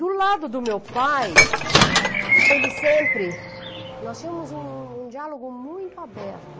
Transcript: Do lado do meu pai, ele sempre, nós tínhamos um diálogo muito aberto.